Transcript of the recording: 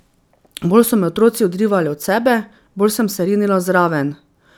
Bolj so me otroci odrivali od sebe, bolj sem se rinila zraven.